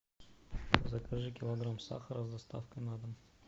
закажи килограмм сахара с доставкой на дом